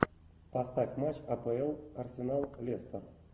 поставь матч апл арсенал лестер